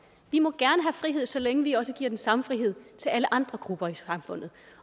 vi må gerne frihed så længe vi også giver den samme frihed til alle andre grupper i samfundet